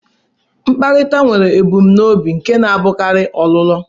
Mkparịta nwere ebumnobi nke na-abụkarị ọlụlụ.